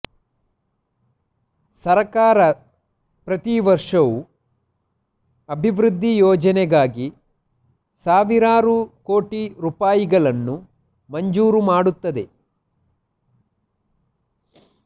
ಸರ್ಕಾರ ಪ್ರತಿ ವರ್ಷವೂ ಅಭಿವೃದ್ಧಿ ಯೋಜನೆಗಾಗಿ ಸಾವಿರಾರು ಕೋಟಿ ರೂಪಾಯಿಗಳನ್ನು ಮಂಜೂರು ಮಾಡುತ್ತದೆ